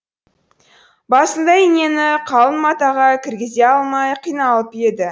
басында инені қалың матаға кіргізе алмай қиналып еді